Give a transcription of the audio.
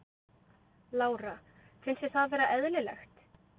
Lára: Finnst þér það vera eðlilegt?